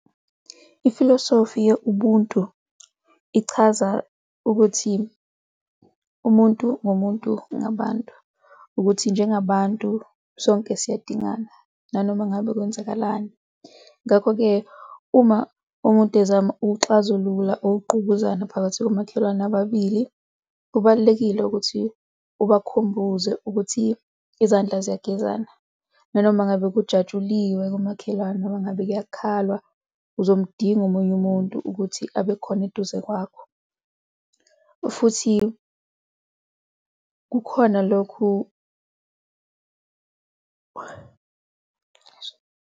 Ifilosofi ye-Ubuntu ichaza ukuthi umuntu ngumuntu ngabantu, ukuthi njengabantu sonke siyadingana nanoma ngabe kwenzakalani. Ngakho-ke, uma umuntu ezama ukuxazulula ukugqubuzana phakathi komakhelwane ababili, kubalulekile ukuthi ubakhumbuze ukuthi izandla ziyagezana nanoma ngabe kujatshuliwe komakhelwane noma ngabe kuyokhalwa, uzomdinga omunye umuntu ukuthi abe khona eduze kwakho futhi kukhona lokhu.